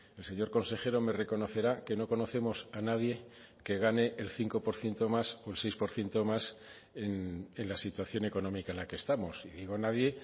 el señor consejero me reconocerá que no conocemos a nadie que gane el cinco por ciento más o el seis por ciento más en la situación económica en la que estamos y digo nadie